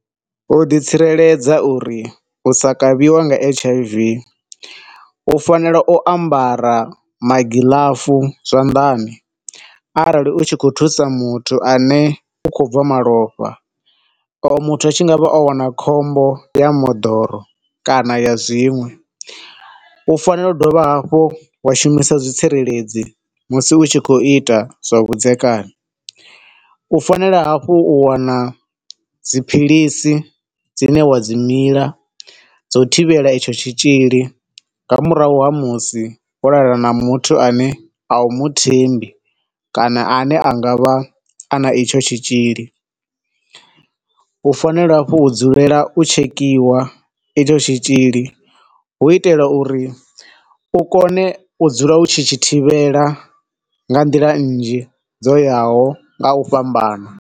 U ḓi tsireledza uri u sa kavhiwe nga H_I_V, U fanela u ambara magiḽafu zwanḓani arali u tshi khou thusa muthu ane u khou bva malofha, oyo muthu a tshi ngavha o wana khombo ya moḓoro kana ya zwiṅwe. U fanela u dovha hafhu wa shumisa zwitsireledzi musi u tshi khou ita zwavhudzekani. U fanela hafhu u wana dziphilisi dzine wa dzi mila dzo u thivhela itsho tshitzhili nga murahu ha musi wo lala na muthu ane awu muthembi kana ane anga vha ana etsho tshitzhili. U fanela hafhu u dzulela u tshekhiwa etsho tshitzhili hu u itela uri u kone u dzula u tshi tshi thivhela nga nḓila nzhi dzo yaho nga u fhambana.